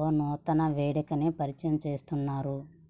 ఓ వినూత్న వేడుకని పరిచయం చేస్తున్నారు